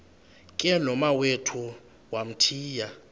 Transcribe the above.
ke nomawethu wamthiya